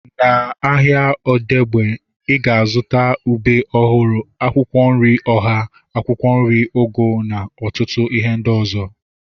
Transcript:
Na ahịa Odegbe, ị ga-azụta ube ọhụrụ, akwụkwọ nri ọha, akwụkwọ nri ugu na ọtụtụ ihe ndị ọzọ